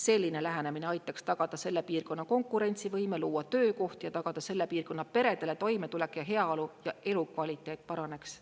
Selline lähenemine aitaks tagada selle piirkonna konkurentsivõime, luua töökohti ja tagada selle piirkonna peredele toimetulek ja heaolu ja elukvaliteet paraneks.